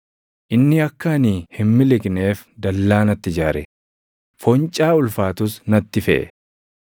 Inni akka ani hin miliqneef dallaa natti ijaare; foncaa ulfaatus natti feʼe.